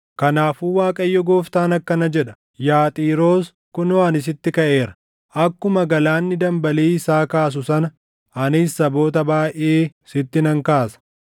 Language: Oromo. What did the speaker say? kanaafuu Waaqayyo Gooftaan akkana jedha: Yaa Xiiroos, kunoo ani sitti kaʼeera; akkuma galaanni dambalii isaa kaasu sana anis saboota baayʼee sitti nan kaasa.